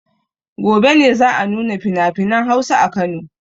Gobe ne za a nuna finafinan Hausa a Kano.